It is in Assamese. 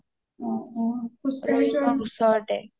অ অ খোজ কাঢ়ি যোৱা নহয়